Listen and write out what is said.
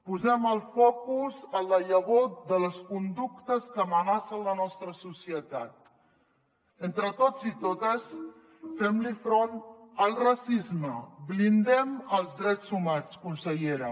posem el focus en la llavor de les conductes que amenacen la nostra societat entre tots i totes fem front el racisme blindem els drets humans consellera